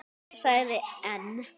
Segið EN.